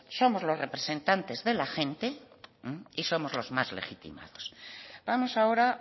somos los representantes de la gente y somos los más legitimados vamos ahora